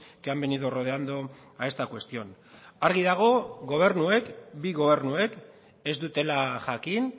que han venido rodeando a esta cuestión argi dago gobernuek bi gobernuek ez dutela jakin